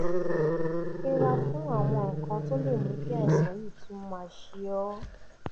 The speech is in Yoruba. yẹra fún àwọn nǹkan tó lè mú kí àìsàn yìí tún máa ṣe ọ́